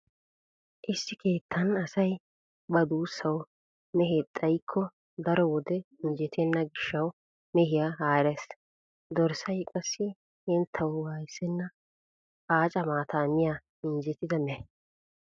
Issi keettan asay ba duussawu mehe xayikko daro wode injjetenna gishshawu mehiya haarees. Dorssay qassi henttawu waayissenna aaca maataa miya anjjettida mehe.